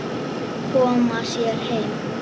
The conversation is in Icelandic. Koma sér heim.